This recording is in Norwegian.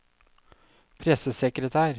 pressesekretær